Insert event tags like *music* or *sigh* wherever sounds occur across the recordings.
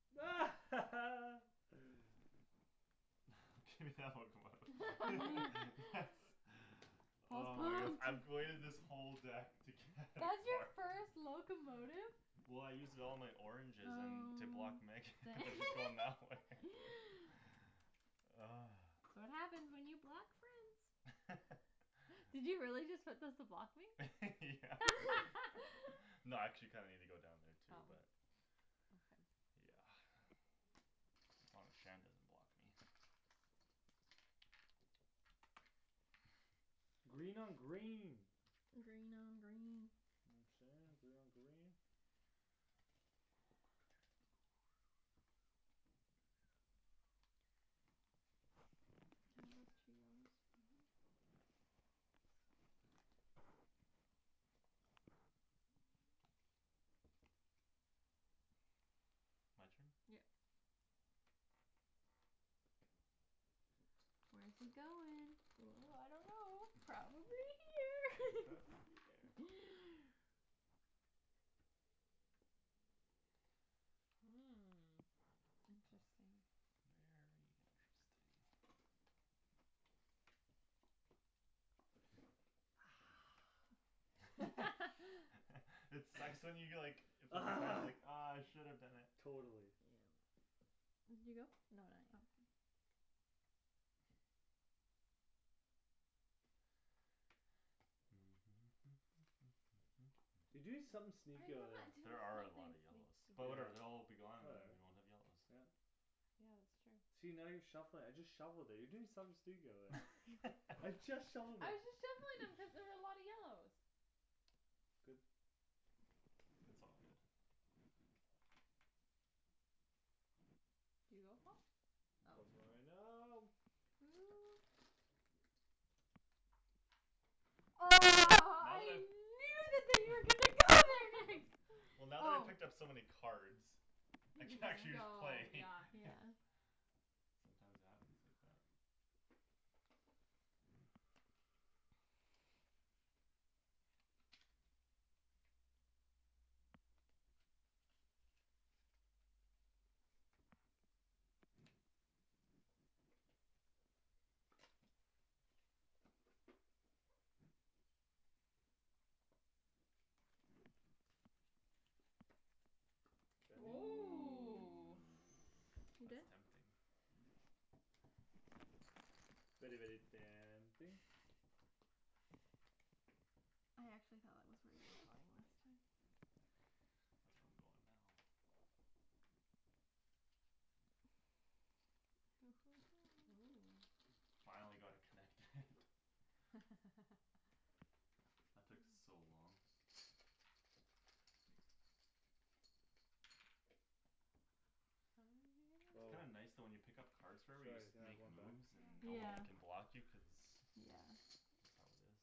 *laughs* *laughs* Do that locomotive. *laughs* *noise* Yes. *laughs* Paul's Oh my goodness, pumped. I've waited this whole deck to get a That's your card first *laughs* locomotive? Well, I used it all in my oranges and to block Megan. Oh to *laughs* going that way dang *laughs* *laughs* *noise* That's what happens when you block friends. *laughs* Did you really just put those to block *laughs* me? Yeah. *laughs* *laughs* No, I actually kinda needed to go down there Oh, too but okay. Yeah. *noise* As long as Shan doesn't block me. *noise* *laughs* Green on green. Green on green. You know what I'm sayin', green on green. *inaudible* Mhm. *noise* My turn? Yep. Where's he going? Ooh, ooh, I don't know. Probably *laughs* here. Probably there. *laughs* Hmm, Hmm, interesting. interesting. *noise* Very interesting. *noise* *laughs* *laughs* *laughs* It sucks when you get like Ah. *inaudible* Ah, I should have done it. Yeah. Totally. Did you go? No, not yet. Okay. *noise* You doing something sneaky over I'm not there. doing There are a something lot of yellows. sneaky. But, yeah, But whatever. They'll all be gone, and whatever, then we won't have yellows. yeah. Yeah, that's true. See, now you're shuffling it. I just shuffled it. You're doing something sneaky over there. *laughs* I I'm just just shuffled it. shuffling them cuz there *laughs* was a lot of yellows. Good. It's all good. Did you go Paul? Oh. Good Paul's going right now. now. Ooh. Oh, Now that I've, now that I I've knew that that you were gonna *laughs* go there next. *laughs* Well, now that I Oh. picked up so many cards I You can can just actually go, play yeah Yeah. *laughs* Sometimes it happens like that. Shandy. Ooh, Ooh. Ooh, you good? that's tempting. *noise* Very, very tempting. I actually thought that was were you were *noise* *noise* *noise* going last time. That's where I'm going now. Hoo hoo Ooh. hoo Finally got it connected. *laughs* *laughs* *laughs* That took Um. so long. How many did It's you Oh. kinda give me *inaudible* nice though when you pick up cards forever you just Sorry, can have makes one back? moves and Yeah. Yeah, no yeah. one can block you cuz that's how it is.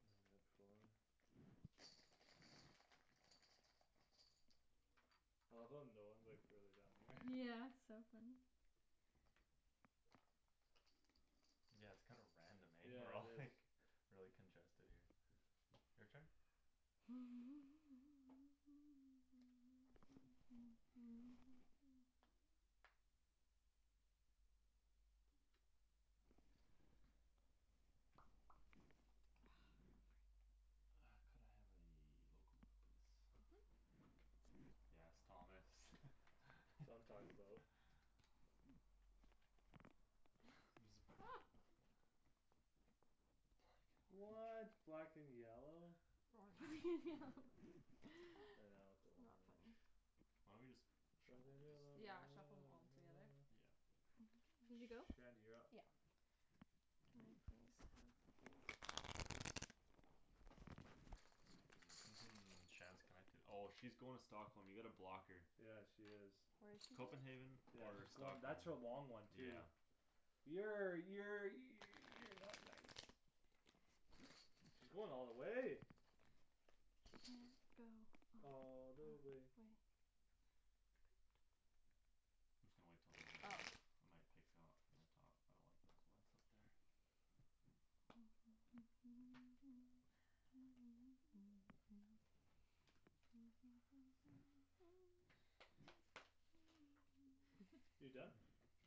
End at four. I love how no one's like really down here. Yeah, *laughs* it's so funny. Yeah, it's kinda random, eh, we're Yeah, all it is. like Really congested here. Your turn? *noise* Ah, freak. *noise* Ah, could I have a locomotive please? Mhm. Yes, Thomas *laughs* That's what I'm talkin' about. *noise* There's a Oh. What *inaudible* black and yellow? Orange *laughs* It's I know not it's a orange. funny. Why don't we just Black shuffle and these? yellow Yeah, shuffle 'em all together. *noise* Yeah. *noise* Did you go? Shandy, you're up. Yeah. Can I please have this? *noise* Shand's connected. Oh, she's going to Stockholm. You gotta block her. Yeah, she is. Where's she going? Copenhagen. Yeah, Or she's going. Stockholm, That's her long one too yeah. Yeah, yeah, you you're not nice. She's going all the way. Can go all All the the way. way I'm just gonna wait till those are done. Oh. I might pick up from the top. I don't like those ones up there. *noise* *laughs* You done?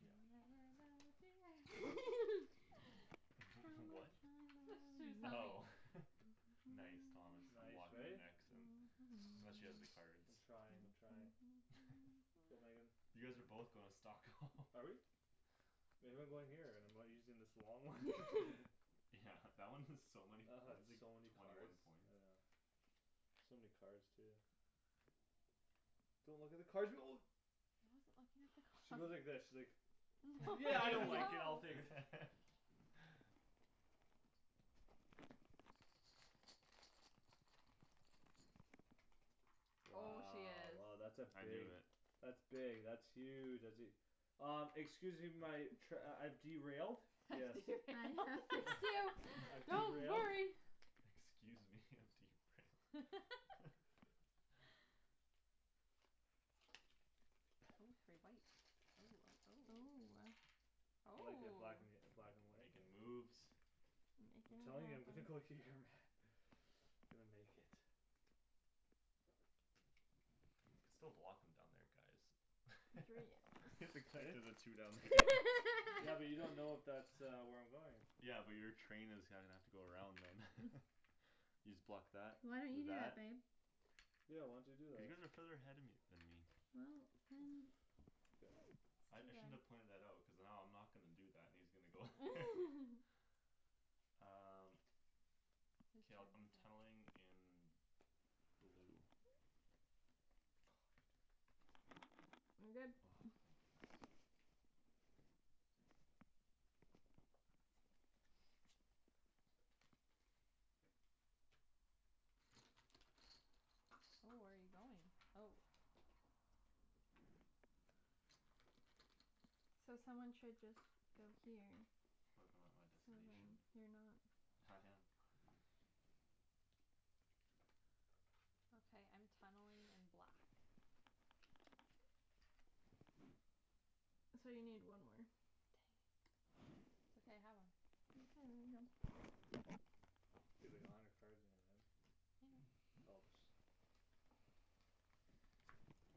You'll never know dear *laughs* *laughs* How *laughs* What? much That's what I she was love humming. Oh you. *laughs* Nice. Thomas, I'm Nice, blocking you eh? next. I'm I'm not sure she has the *noise* cards. I'm trying, I'm trying. Go, Megan. *laughs* *noise* You guys are both going to Stockholm. *laughs* Are we? Maybe I'm going here and I'm using this long one *laughs* *laughs* Yeah *laughs* That one is so many I had points, like, so many twenty one cards, I points. know. So many cards too. Don't look at the cards. *noise* I wasn't looking at the cards. She went like this. She's like No. Yeah, I don't *laughs* like it, I'll No. *laughs* take it. *laughs* Oh, she Wow, is oh, that's a I knew big it. That's big, that's huge, that's e- Uh, excuse me my trai- I've derailed. Yes. I'm gonna fix you, I've *laughs* don't derailed. worry. *laughs* Excuse me, I'm derailed. *laughs* *laughs* Oh, three whites, oh, oh, Ooh, oh. ah. I like it black Oh. an- Make black and white but makin' moves I'm telling you I'm gonna go here, man. *inaudible* *noise* I'm gonna make it. You could still block him down there guys. Three *laughs* Is it yellows Eh? connected the two down there? Yeah, but you don't know if that *laughs* uh where I'm going Yeah, but your train is gonna have to go around them. *laughs* You just block that Why don't you with do that. that babe? Yeah why don't you do Cuz you that? guys are further ahead of me than me Well, then Good. I I shouldn't have It's too long. pointed that out. Cuz now I'm not gonna do that, and he's gonna go *laughs* *laughs* Um. Whose K, I'll turn I'm is it? tunneling in. Blue. *inaudible* I'm good. Oh, thank goodness. Ooh, where you going? Oh. So someone should just go here. What if I'm at my So then destination? you're not I No, I am am. not. Okay, I'm tunneling *noise* in black. *noise* So you need one more. *inaudible* *inaudible* it's okay. I have one. *inaudible* You have like a hundred cards in your hand. I know. Helps.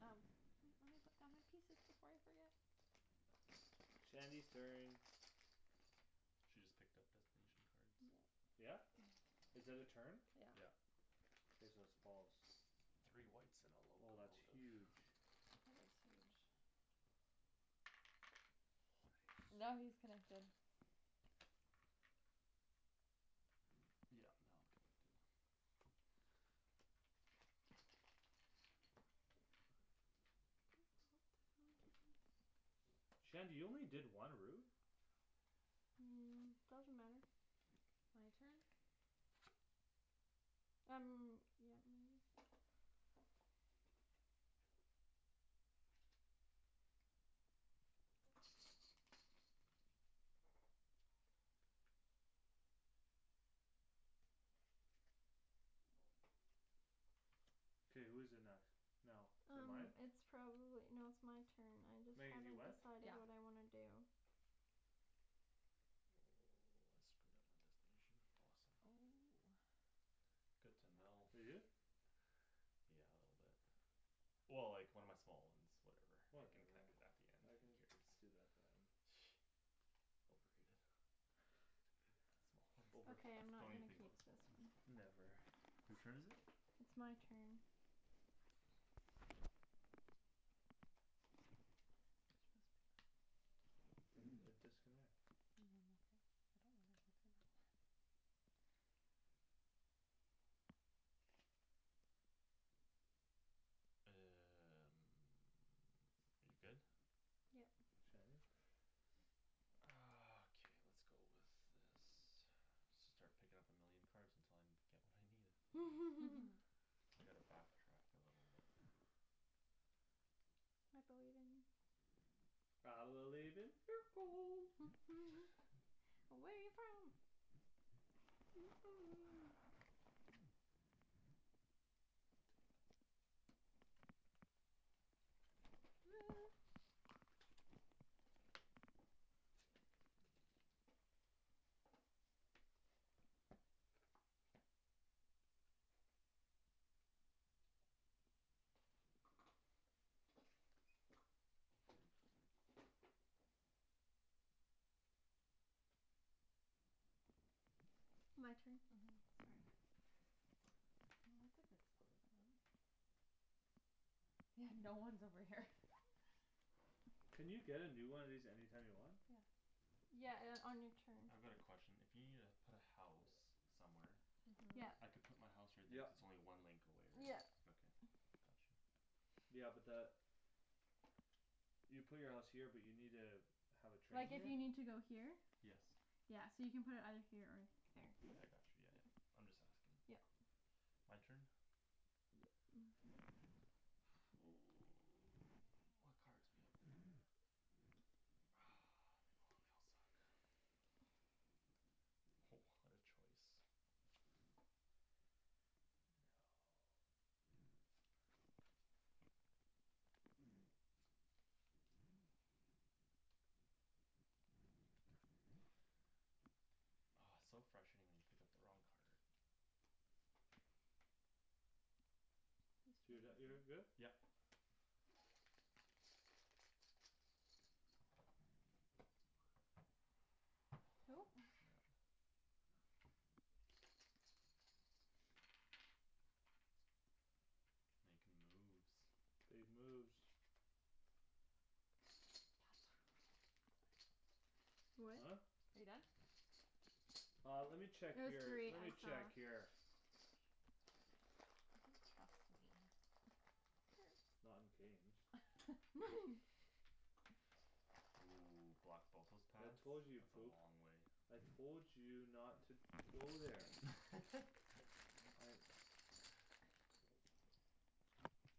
Um, wait. Let me put down my pieces before I forget. *noise* Shandy's turn. She just picked up destination cards. Yep. Yeah? Is that a turn? Yeah. Yeah. Okay, so it's Paul's. Three whites and a Oh, that's locomotive. huge. That is huge. Nice. Now he is connected. Yeah now I'm connected. *inaudible* Shandy you only did one route? Um, doesn't matter. My turn? Um, yeah, maybe. K, who's it next now? Is it Um, mine? it's probably, no, it's my turn. I just Megan haven't you went? decided what Yeah. I wanna do. Oh, I screwed up my destination, awesome. Oh. Good to know. You do? *laughs* Yeah, a little bit. Well, like, one of my small ones. Whatever, I can Whatever. connected it back again. I Who can cares? *noise* do that at the end. Overrated. Small one. Over. Okay, I'm not Don't even gonna think keep about small this ones. one. Never. Who's turn is it? It's my turn. *inaudible* And a disconnect. No, I'm okay. I don't wanna go through that one. *noise* You good? Yep. Shandy. Ah, okay, lets go with this. Should start picking up a million cards until I'm get what I needed. *laughs* *laughs* I need to back track a little bit. *noise* I believe in you. I believe in miracles. *noise* *noise* Away from *noise* *noise* *noise* My turn. Mhm, sorry. Well, that's a good spot for them. Yeah, no one's over here. *laughs* Can you get a new one of these anytime you want? Yeah. Yeah, uh, on your turn. I've got a question. If you needa put a house somewhere Mhm. Yeah. I can put my house right there Yep. if its only one link away, right? Yeah. Okay, got you. Yeah, but that You put your house here but you need a Have a train Like if here? you need to go here Yes. Yeah, so you can put it either here or here. Yeah I got you, yeah, yeah. I'm just asking. Yep. My turn? Yep. *noise* *noise* *noise* What cards we have there? Ah, they bo- they all suck. Ho, what a choice! No. Oh, it's so frustrating when you pick up the wrong card. Whose Do turn that. You're is good? it? Yep. Who *noise* Snap. Makin' moves. Big moves. *inaudible* Huh? What? Are you done? Uh, let me check It was your, three, let I me check saw. your He You doesn't trust can me. pass to me Not in Hurts. games. *laughs* *laughs* Ooh, block both those I paths. told you you'd That's a poop. long way. I told you not to to go there *laughs* I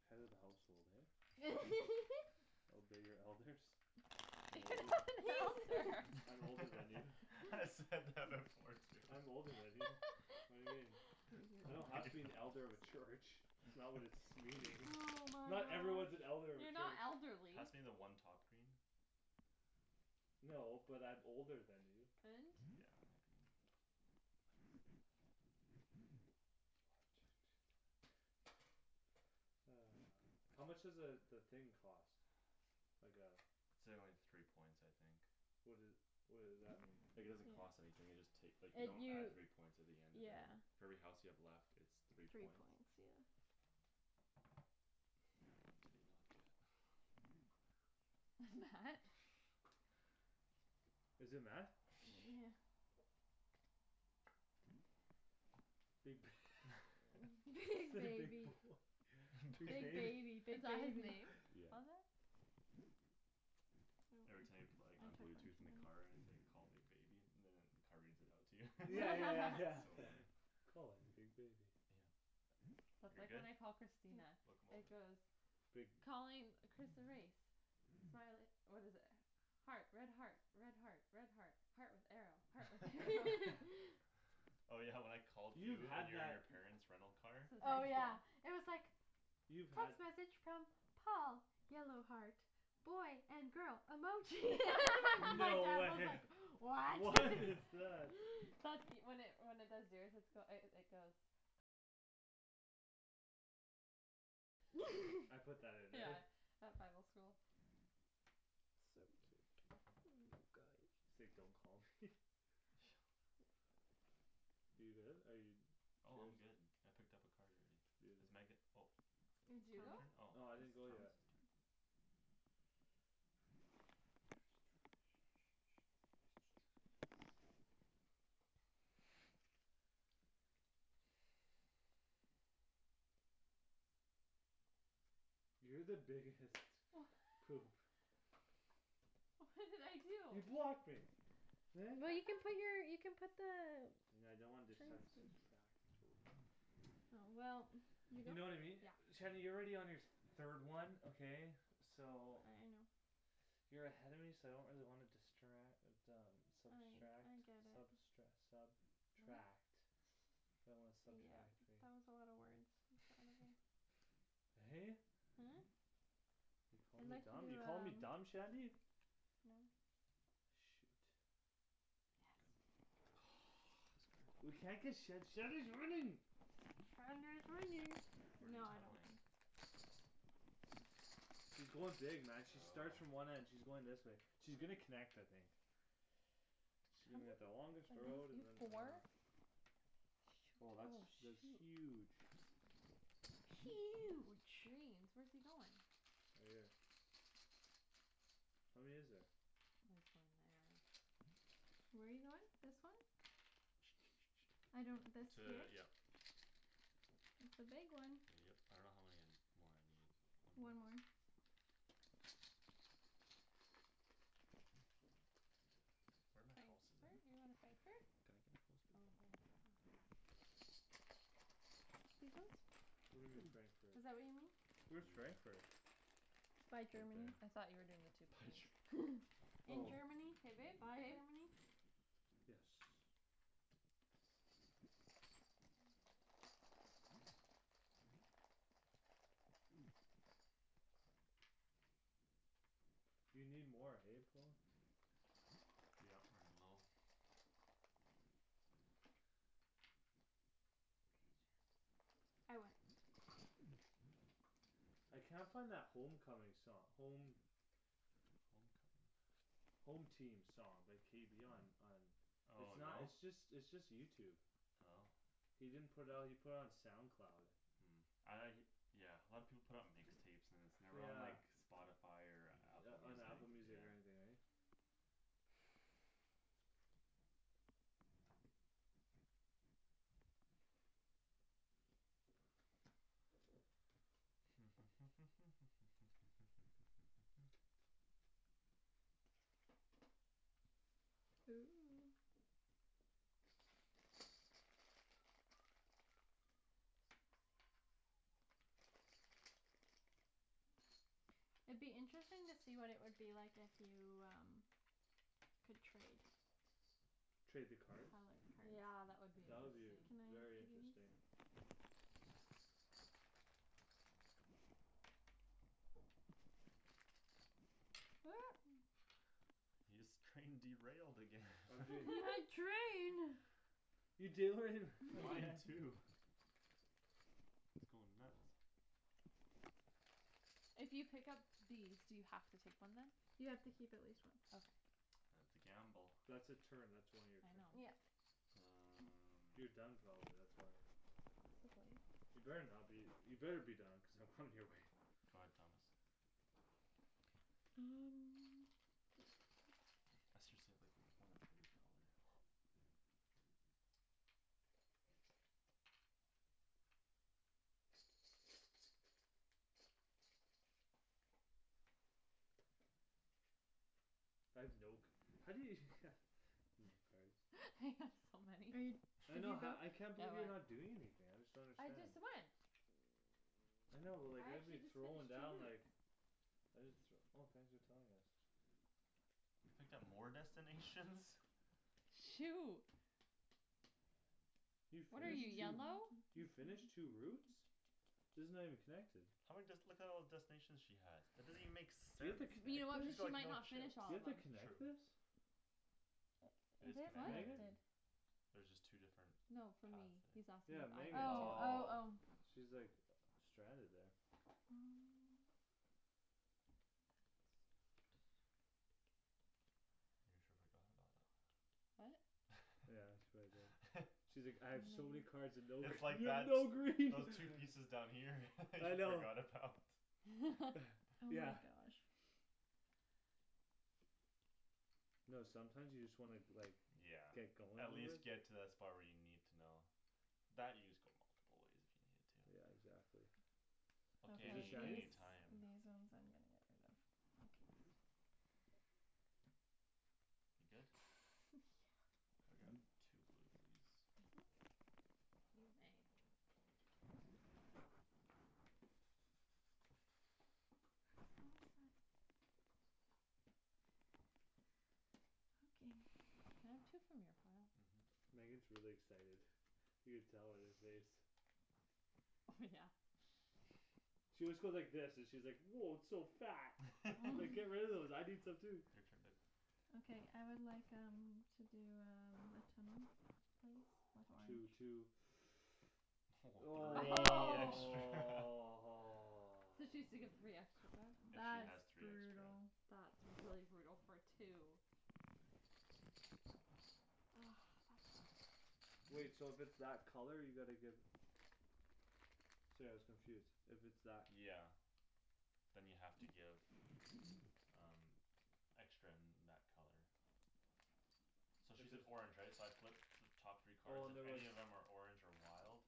Head of the household, eh *laughs* Obey your elders. *laughs* I'm You're older. not *laughs* an elder. *laughs* *inaudible* I'm older than you. I said that before too. I'm older than you. What do you mean? *laughs* I don't have to be an elder of a *inaudible* *inaudible* church. It's not what it's *noise* meaning. Oh my Not everyone's gosh. an elder of a You're not church. elderly. Pass me the one top green. No, but I'm older than you. And? Yeah, a green. Thanks. One, two, two, seven. *inaudible* Ah. How much does a the thing cost? Like a It's a only three points I think. What doe- what does that mean? Like it doesn't cost anything, you just take. Like you It don't you add three points at the end of it. yeah For every house you have left it's three Three points. points, yeah. What point did he not get? *noise* *inaudible* *noise* Is it met? Yeah. Big *laughs* Big Big big *laughs* baby, boy. *laughs* Big big Big bab- baby, big Is that his baby. name? *noise* Yeah. On that? Every time you pla- like on blue tooth in the car, it's like call big baby, and then the car reads it out to you. *laughs* Yeah, yeah, yeah, It's so *laughs* yeah *laughs* funny. Calling big baby Yeah. That's You're like good? when I call Christina, *noise* it Locomotive goes Big Calling Chris erase Smile it, what is it? Heart, red heart, red heart, red heart Heart with arrow, heart with arrow *laughs* *laughs* *laughs* *laughs* Oh, yeah, when I called You've you and had you and that your parents rental car Since Oh, high school yeah, it was like You've had Text message from Paul yellow heart boy and girl emoji *laughs* *laughs* my dad No. was like *laughs* *laughs* What? What is *laughs* that? That's e- when it when it does yours it's goe- it goes I put that in there Yeah, at Bible school. So cute, um, guy. Say don't call me *laughs* *noise* You good, are you? It's Oh, yours. I'm good. I picked up a card already. It's Megan. *inaudible* Oh. Did It's you your go? turn? Oh. No, It's I Thomas' didn't go turn. yet. *noise* *noise* You're the biggest Wha- *laughs* *laughs* poop. What did I You do? blocked me. Eh? Well, you can put *laughs* your you put the And I don't want Train this sub- station subtract three Oh, well, you You know know what I mean? Yeah. Shady you're already on your th- third one, okay. I know. So You're ahead of me so I don't really wanna distra- uh but um I subtract I get it. substre- sub tract I don't Yeah, wanna that was subtract, right. a lotta words. In front of you *laughs* *laughs* Hey. Hmm? You're calling I'd me like dumb, you're to calling me do, dumb, um Shandy? No. Shoot. Good. Yes. This card. *noise* We can't get Shand- Shandy's winning Shandy is winning. Where No, you I don't win. tunneling? She's going dig, man, she starts from Oh. one end, she's going this way. She's gonna connect, I think. She's How gonna get the longest many road *inaudible* You and have then. ah four? Oh, Shoot, that's that's oh, huge. shoot. Huge. Greens. Where's he goin'? Right here. How many is there? Oh, he's going there. Where you goin'? This one? *noise* I don't this here? T- yeah. It's the big one. Yep. I don't know how many more I need. One more? One more. Where my houses Frankfurt? at? You going to Oh, Frankfurt. can I get a house baby? Oh, there. Okay. These ones? What do you mean, Frankfurt? Is that what you mean? Where's *inaudible* Frankfurt? By Right Germany. there. I thought you were doing the two By pink. Ger- *laughs* In Oh. Germany, K, babe, by babe. Germany. Yes. You need more, hey, Paul. Yeah, running low. K, Shands. I win. I can't find that home coming song, home Home coming. Home team song by K B on on It's Oh, not no? it's just it's just YouTube Oh. He didn't put out he put it on SoundCloud. Mm, I Yeah, a lot of people put it on mix tapes and then it's never on Yeah. like Spotify or Yeah, Apple on Music, Apple yeah. Music or anything, right? *noise* *noise* Ooh. *noise* It'd be interesting to see what it would be like if you, um Could trade Trade the Color cards? Yeah, that cards. would be That would be v- interesting. Can I very give you interesting. these? *noise* Your scrain derailed again. *laughs* I'm You doing. had *laughs* train. You derai- *laughs* Mine again. too. It's goin' nuts. If you pick up these do you have to take one then? You have to keep at least one. Okay. *noise* That's a gamble. That's a turn, that's one of your I turn. know. Yep. *noise* You're Um. done probably, that's why. Possibly. You better not be you better be done cuz I'm coming your way. Go ahead, Thomas. And *inaudible* Let's just save like one of every color. I have no c- how do you *laughs* No cards. *laughs* I have so Are you many. I Did you know ha- go? I can't believe you're *inaudible* not doing anything. I just don't I understand. just went. I know but like I I'd be actually just throwing finished two down like routes. I just th- Oh thanks for telling us. You picked up more destinations? Shoot. You What are you, finished two? yellow? You finished two *noise* routes? These are not even connected. How many dest- Look at all the destinations she has. That doesn't even make Do you have sense. to You connect know what, it? She's got she like might no not chips. finished Do all you of have them. to True. connect this? It It is is What? connected. Megan? connected. There's just two different No, for Paths me. He's there. asking Yeah, Megan. Oh, oh, Oh. oh. *inaudible* She's like uh stranded there. Mm. That's not gonna be good. You sure forgot about it. What? Yeah, that's what I did. *laughs* She's like, "I have so *inaudible* *inaudible* many cards and no." It's like You have that no those green. those pieces down here *laughs* you I know. forgot about. *laughs* Oh *noise* Yeah. my gosh. No, sometimes you just wanna like Yeah, Get going at a little. least get to that spot where you need to know. That you just go multiple ways if you needed to. Yeah, exactly. Okay, Okay, Is it these any any Shany's? these one's time. I'm gonna get rid of. I'll keep these. You good? *noise* Yeah. Could I grab two blue please. Mhm. You may. *noise* What was that? Okay. Can I have two from your pile? Mhm. Megan's really excited. You can tell on your face. Oh, yeah. *noise* She always goes like this, she's like, "Woah, it's so fat." It's *laughs* like, "Get rid *noise* of those. I need some too." Your turn babe. Okay, I would like, um To do um a tunnel please *noise* Two, with orange. two. *noise* Woah, three *noise* extra. *laughs* So she has to give *noise* three extra back. If she That's has three extra. brutal. That's really brutal for two. Ah, that sucks. Wait, so if it's that color you gotta give Sorry I was confused, if it's that Yeah. Then you have to give Um Extra in that color. So If she's an there's orange right? So I flip The top three Oh, card, and there if was any of them are orange or wild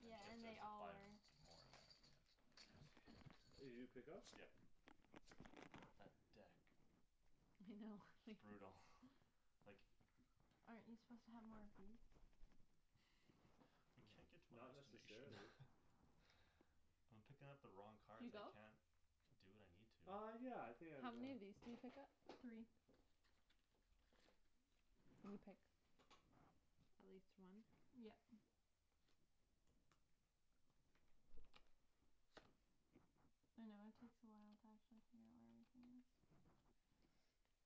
Then Yeah, she I has and see. to they all are. supply them more of that, yeah. I see. Did you pick up? Yeah. That deck. I know. It's *laughs* brutal, like Aren't you suppose to have more of these? *noise* I No, can't get to my not destination. *laughs* necessarily. I'm picking up the wrong Did you cards. I go? can't do what I need to. Uh, yeah, I think I've How many gone. of these do you pick up? Three. And you pick at least one? Yep. I know it takes a while to actually figure out where everything is. *noise*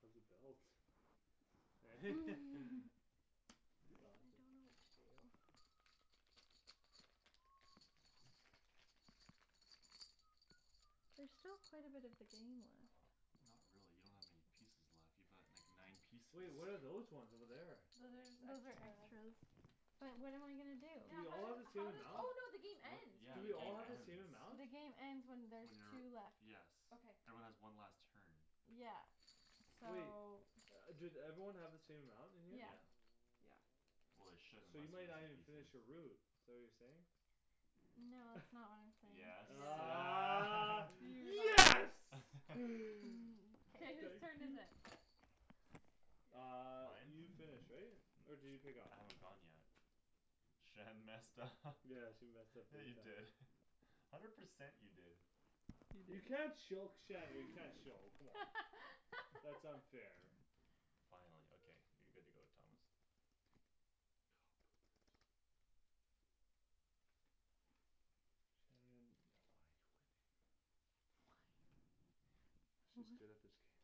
How's the belt? Eh? *laughs* *laughs* It's I awesome. don't know what to do. *noise* There's still quite a bit of the game left. Not really. You don't have many pieces left. You've got like nine pieces. Wait, what are those ones over there? Those are just Those are extras. extras. But what am I gonna do? Do Yeah, we how all have do- the same how does amount? Oh, no, the game What? ends Yeah, Do the we all game have the ends. same amount? The game ends when When there's two you're, left. yes Okay. Everyone has one last turn. Yeah, so Wait. Do everyone have the same amount in here? Yeah. Yeah. Yeah Well, they should So you unless we're might not missing even finish pieces. your route. Is that what you're saying? No, that's not what *laughs* I'm saying. Yes, Ah ah. *noise* *laughs* yes *noise* *laughs* Mm, K, whose Thank k turn is you. it? *inaudible* Uh, Mine? you finished, right? *noise* Or did you pick up? I haven't gone yet. Shan messed up *laughs* Yeah, she messed up Yeah, big you time. did *laughs* hundred percent you did. You can't choke Shandy, you can't show come on, that's *laughs* unfair. Finally, okay, you're good to go, Thomas. Oh, poopers. Shandryn, why you're winning? She's good at this game. What?